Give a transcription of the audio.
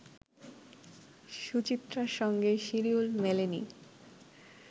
সুচিত্রার সঙ্গে শিডিউল মেলেনি